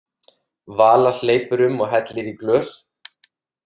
Vala hleypur um og hellir í glös.